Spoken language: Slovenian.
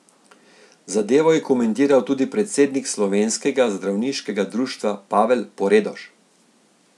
Zadevo je komentiral tudi predsednik Slovenskega zdravniškega društva Pavel Poredoš.